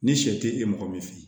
Ni sɛ te e mɔgɔ min fɛ yen